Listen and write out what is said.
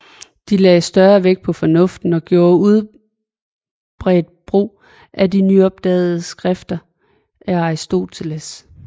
De lagde større vægt på fornuften og gjorde udbredt brugt af de nyopdagede skrifter af Aristoteles